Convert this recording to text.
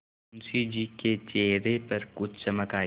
मुंशी जी के चेहरे पर कुछ चमक आई